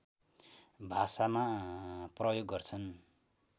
भाषामा प्रयोग गर्छन्